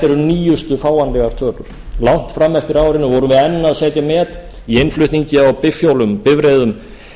nýjustu fáanlegar tölur langt fram eftir árinu vorum við enn að setja met í innflutningi á bifhjólum bifreiðum